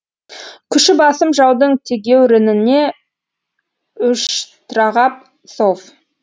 күші басым жаудың тегеурініне ұшьтрағап сов